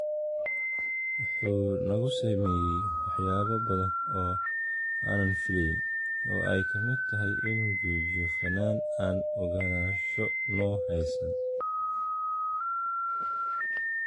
“Wuxuu nagu sameeyay waxyaabo badan oo aanan filayn, oo ay ka mid tahay inuu joojiyo fanaan aan ogolaansho noo haysan.